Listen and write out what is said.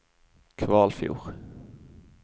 Kvalfjord